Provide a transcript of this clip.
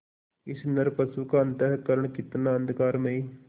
इस नरपशु का अंतःकरण कितना अंधकारमय